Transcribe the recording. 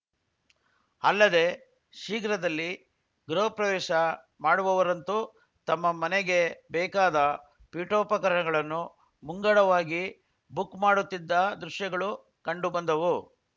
ಅಲ್ಲದೆ ಶೀಘ್ರದಲ್ಲಿ ಗೃಹ ಪ್ರವೇಶ ಮಾಡುವವರಂತೂ ತಮ್ಮ ಮನೆಗೆ ಬೇಕಾದ ಪೀಠೋಪಕರಣಗಳನ್ನು ಮುಂಗಡವಾಗಿ ಬುಕ್‌ ಮಾಡುತ್ತಿದ್ದ ದೃಶ್ಯಗಳು ಕಂಡು ಬಂದವು